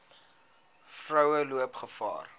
vroue loop gevaar